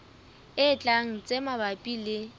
e tlang tse mabapi le